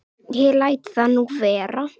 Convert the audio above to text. Ég læt það nú vera.